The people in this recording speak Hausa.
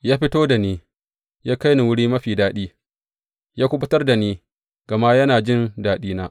Ya fito da ni, ya kai ni wuri mafi fāɗi; ya kuɓutar da ni gama yana jin daɗina.